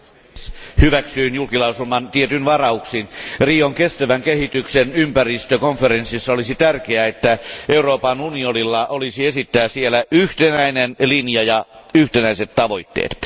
Arvoisa puhemies, hyväksyin julkilausuman tietyin varauksin. Rion kestävän kehityksen ympäristökonferenssissa olisi tärkeää, että Euroopan unionilla olisi esittää siellä yhtenäinen linja ja yhtenäiset tavoitteet.